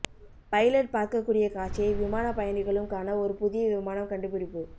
pilot பார்க்கக்கூடிய காட்சியை விமான பயணிகளும் காண ஒரு புதிய விமானம் கண்டுபிடிப்பு